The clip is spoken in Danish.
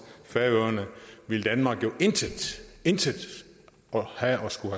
færøerne ville danmark jo intet intet have at skulle